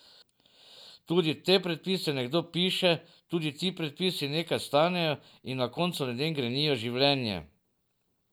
Tudi te predpise nekdo piše, tudi ti predpisi nekaj stanejo in na koncu ljudem grenijo življenje.